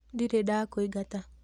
Ndirĩ ndakũingata